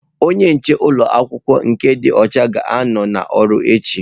Onye nche ụlọ akwụkwọ nke dị ọcha ga-anọ n'ọrụ echi.